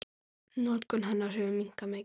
Notkun hennar hefur minnkað mikið.